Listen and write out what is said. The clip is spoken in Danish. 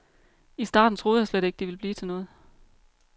I starten troede jeg slet ikke, det ville blive til noget.